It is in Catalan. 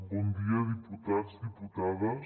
bon dia diputats diputades